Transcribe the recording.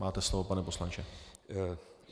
Máte slovo, pane poslanče.